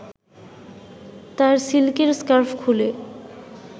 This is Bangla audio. তার সিল্কের স্কার্ফ খুলে